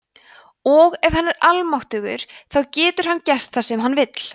og ef hann er almáttugur þá getur hann gert það sem hann vill